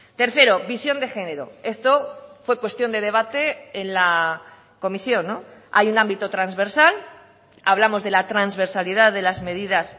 tercero visión de género esto fue cuestión de debate en la comisión hay un ámbito transversal hablamos de la transversalidad de las medidas